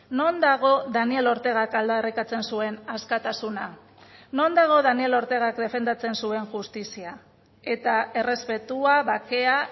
non dago daniel ortegak aldarrikatzen zuen askatasuna non dago daniel ortegak defendatzen zuen justizia eta errespetua bakea